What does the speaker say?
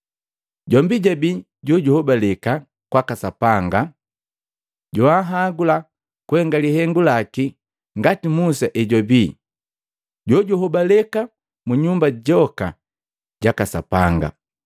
Jombi jabii jojuhobaleka kwaka Sapanga joanhagula kuhenga lihengu laki ngati Musa hejwabii jojuhobaleka mu nyumba joka jaka Sapanga.